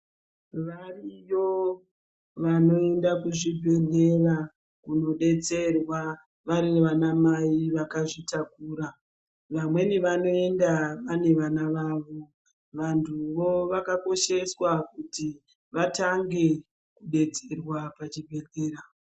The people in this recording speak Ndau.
Wariyo wanoenda kuzvibhedhlera kunoedzerwa wari wana mai wakazvitakura, wamweni wanoenda wane wana wawo, wanhuwo wakakosheswa kuti watange kubetserwa pachibhedhleya.